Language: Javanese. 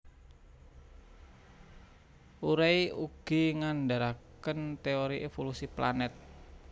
Urey ugi ngandharaken teori evolusi planet